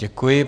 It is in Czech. Děkuji.